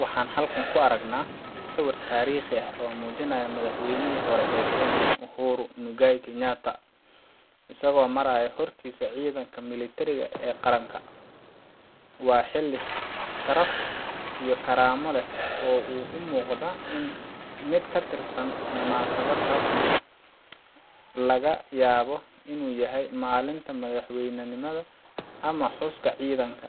Waxaan halkan ku aragnaa sawir taariikhi ah oo muujinaya madaxweynihii hore ee Kenya, Uhuru Muigai Kenyatta, isagoo maraya hortiisa ciidanka milatariga ee qaranka. Waa xilli sharaf iyo karaamo leh oo u muuqda mid ka tirsan munaasabad rasmi ah laga yaabo inuu yahay maalinta madaxbannaanida ama xuska ciidanka.